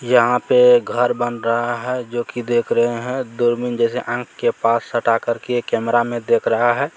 यहाँ पे घर बन रहा है जो की देख रहे है दूरबीन जैसे आंख के पास सटा करके कैमरा में देख रहा है।